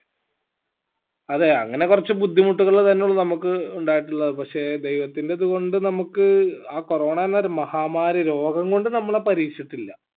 അതെ അങ്ങനെ കൊറച് ബുദ്ധിമുട്ടുകൾ തന്നള്ളൂ നമ്മക്ക് ഉണ്ടായിട്ടുള്ളത് പക്ഷേ ദൈവത്തിന്റെ ഇത് കൊണ്ട് നമ്മക്ക് ആ corona എന്നൊരു മഹാമാരി രോഗം കൊണ്ട് നമ്മളെ പരീഷിട്ടില്ല